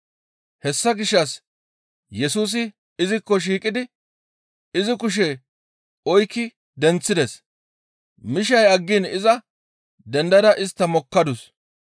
Hessa gishshas Yesusi izikko shiiqidi izi kushe oykki denththides. Mishay aggiin iza dendada istta mokkadus.